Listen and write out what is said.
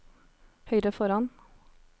høyre foran